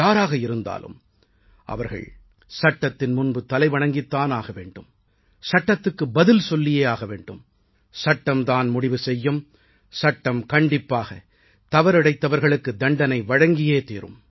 யாராக இருந்தாலும் அவர்கள் சட்டத்தின் முன்பு தலைவணங்கித் தான் ஆக வேண்டும் சட்டத்துக்கு பதில் சொல்லியே ஆக வேண்டும் சட்டம் தான் முடிவு செய்யும் சட்டம் கண்டிப்பாக தவறிழைத்தவர்களுக்குத் தண்டனை வழங்கியே தீரும்